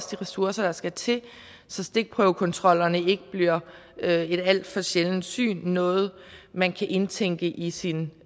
de ressourcer der skal til så stikprøvekontroller ikke bliver et alt for sjældent syn noget man kan indtænke i sin